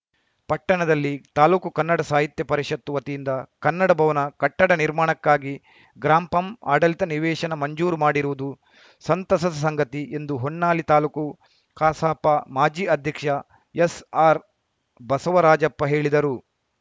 ಪಟ್ಟಣದಲ್ಲಿ ತಾಲೂಕು ಕನ್ನಡ ಸಾಹಿತ್ಯ ಪರಿಷತ್ತು ವತಿಯಿಂದ ಕನ್ನಡ ಭವನ ಕಟ್ಟಡ ನಿರ್ಮಾಣಕ್ಕಾಗಿ ಗ್ರಾಂ ಪಂ ಆಡಳಿತ ನಿವೇಶನ ಮಂಜೂರು ಮಾಡಿರುವುದು ಸಂತಸದ ಸಂಗತಿ ಎಂದು ಹೊನ್ನಾಳಿ ತಾಲೂಕು ಕಸಾಪ ಮಾಜಿ ಅಧ್ಯಕ್ಷ ಎಸ್‌ಆರ್‌ ಬಸವರಾಜಪ್ಪ ಹೇಳಿದರು